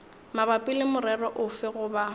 mabapi le morero ofe goba